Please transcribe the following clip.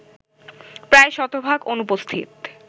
প্রায় শতভাগ অনুপস্থিত